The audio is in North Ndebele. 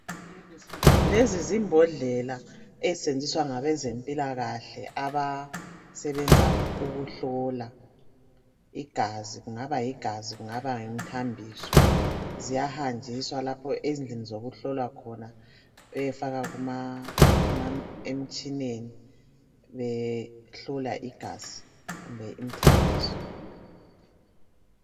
Lezi zimbodlela ezisetshenziswa ngabezempilakahle abasebenza ukuhlola igazi. Kungaba yigazi kungaba ngumthambiso .Ziyahanjiswa lapho ezindlini zokuhlolwa khona beyefaka emtshineni behlola igazi kumbe imthambiso